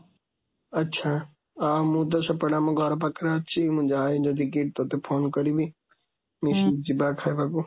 ଆଛା, ଆଁ ମୁଁ ତ ସେପଟେ ଆମ ଘର ପାଖରେ ଅଛି, ମୁଁ ଯାଏ ଯଦିKIIT ତତେ ଫୋନ୍ କରିବି, ନିଶ୍ଚିତ ଯିବା ଖାଇବାକୁ।